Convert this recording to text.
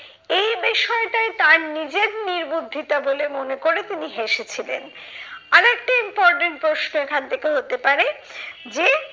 এই বিষয়টায় তার নিজের নির্বুদ্ধিতা বলে মনে করে তিনি হেসেছিলেন। আর একটি important প্রশ্ন এখান থেকে হতে পারে, যে